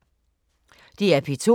DR P2